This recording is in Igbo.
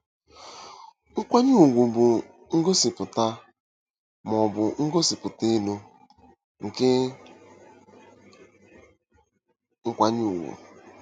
Nkwanye ugwu bụ ngosipụta, ma ọ bụ ngosipụta elu, nke nkwanye ùgwù.